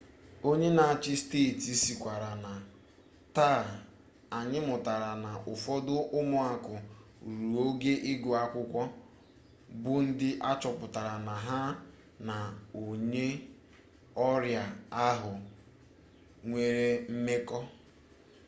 onye n'achị steeti sịkwara na taa anyị mụtara na ụfọdụ ụmụaka ruru ogo ịgụ akwụkwọ bụ ndị achọpụtara na ha na onye ọrịa ahụ nwere mmekọ